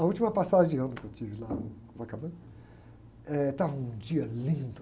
A última passagem de ano que eu tive lá em Copacabana, eh, estava um dia lindo.